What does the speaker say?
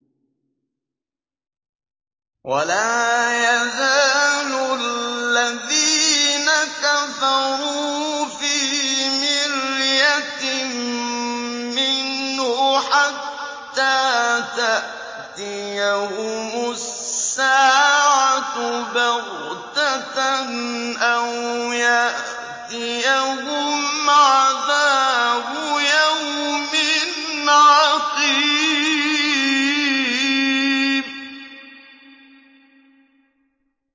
وَلَا يَزَالُ الَّذِينَ كَفَرُوا فِي مِرْيَةٍ مِّنْهُ حَتَّىٰ تَأْتِيَهُمُ السَّاعَةُ بَغْتَةً أَوْ يَأْتِيَهُمْ عَذَابُ يَوْمٍ عَقِيمٍ